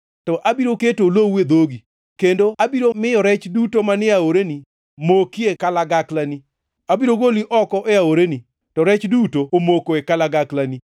To abiro keto olowu e dhogi kendo abiro miyo rech duto manie aoreni mokie kalagaklani. Abiro goli oko e aoreni, ka rech duto omoko e kalagaklani.